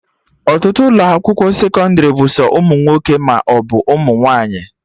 Ọtụtụ ụlọ akwụkwọ sekọndrị bụ sọ ụmụ nwoke maọbụ ụmụ nwaanyị